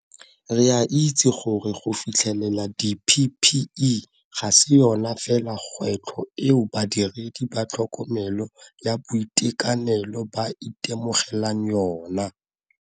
Re a itse gore go fitlhelela di-PPE ga se yona fela kgwetlho eo badiredi ba tlhokomelo ya boitekanelo ba itemogelang yona.